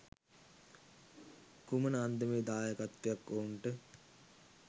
කුමන අන්දමේ දායකත්වයක් ඔවුන්ට